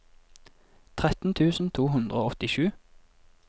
tretten tusen to hundre og åttisju